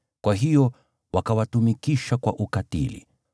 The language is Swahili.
kwa hiyo wakawatumikisha kwa ukatili.